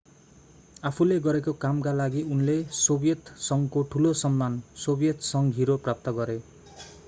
आफूले गरेको कामका लागि उनले सोभियत संघको ठुलो सम्मान सोभियत संघ हिरो प्राप्त गरे